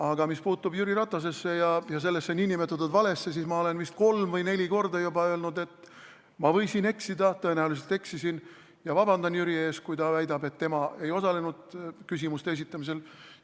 Aga mis puutub Jüri Ratasesse ja sellesse nn valesse, siis ma olen vist kolm või neli korda juba öelnud, et ma võisin eksida, tõenäoliselt eksisin, ja ma vabandan Jüri ees, kui ta väidab, et tema ei osalenud küsimuste esitamisel.